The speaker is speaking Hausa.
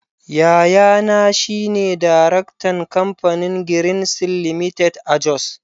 Yayana shi ne Daraktan Kamfanin Greenseals Ltd. a Jos.